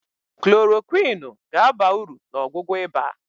klorokwịnụ ga-aba uru na ọgwụgwọ ịba.